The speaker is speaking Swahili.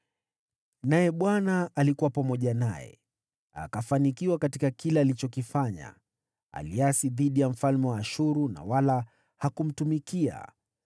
Naye Bwana alikuwa pamoja naye, akafanikiwa katika kila alichokifanya. Aliasi dhidi ya mfalme wa Ashuru, wala hakumtumikia.